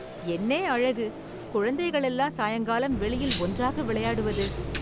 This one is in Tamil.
என்னே அழகு! குழந்தைகள் எல்லாம் சாயங்காலம் வெளியில் ஒன்றாக விளையாடுவது